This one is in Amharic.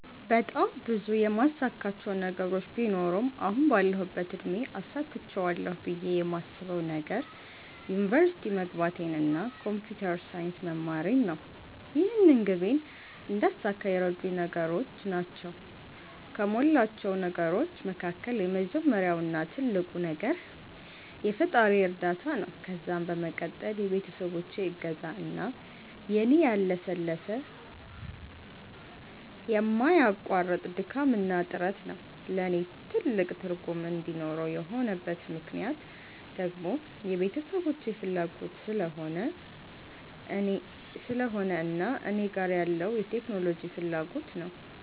በጣም ብዙ የማሳካቸው ነገሮች ቢኖሩም አሁን ባለሁበት እድሜ አሳክቸዋለሁ ብየ የማስበዉ ነገር ዩኒቨርሲቲ መግባቴን እና ኮንፒተር ሳይንስ መማሬን ነው። ይህንን ግቤን እንዳሳካ የረዱኝ ነገሮች ናቸዉ ከሞላቸው ነገሮች መካከል የመጀመሪያው እና ትልቁ ነገር የፈጣሪየ እርዳታ ነዉ ከዛም በመቀጠል የቤተሰቦቼ እገዛ እና የኔ ያለሰለሰ የማያቋርጥ ድካምና ጥረት ነዉ። ለኔ ትልቅ ትርጉም እንዲኖረው የሆነበት ምክነያት ደግሞ የቤተሰቦቼ ፋላጎት ስለሆነ እና እኔ ጋር ያለዉ የቴክኖሎጂ ፋላጎት ነዉ።